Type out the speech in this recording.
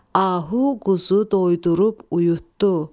Ahu quzu doydurub uyudu.